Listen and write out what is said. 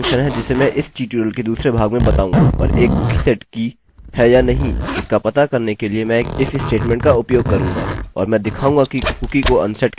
अच्छा तो एक अन्य फंक्शन है जिसे मैं इस ट्यूटोरियल के दूसरे भाग में बताऊंगा और एक कुकी सेट की है या नहीं इसका पता करने के लिए मैं एक if स्टेटमेंट का उपयोग करूँगा